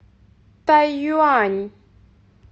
тайюань